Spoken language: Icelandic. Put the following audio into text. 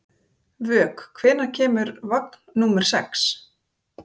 Vök, hvenær kemur vagn númer sex?